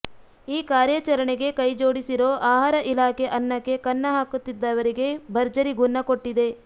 ಈ ಕಾರ್ಯಾಚರಣೆಗೆ ಕೈಜೋಡಿಸಿರೋ ಆಹಾರ ಇಲಾಖೆ ಅನ್ನಕ್ಕೆ ಕನ್ನ ಹಾಕುತ್ತಿದ್ದವರಿಗೆ ಭರ್ಜರಿ ಗುನ್ನ ಕೊಟ್ಟಿದೆ